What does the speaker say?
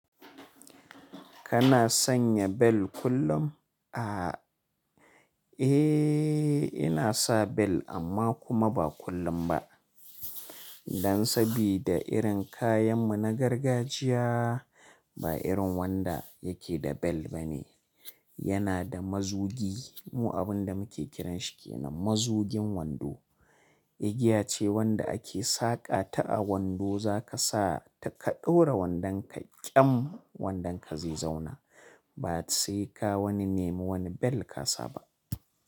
Kana sanya bel kullum? Aaa, eee, ina sa bel amma kuma ba kullum ba. Dan sabida irin kayan mu na gargajiya ba irin wanda yake da bel ba ne. Yana da mazugi, mu abin da muke kiranshi ke nan mazugin wando. Igiya ce wanda ake saƙata a wando za ka sa ta ka ɗaura wandanka ƙyam wandanka zai zauna. Ba sai ka wani nema wani bel ka sa ba.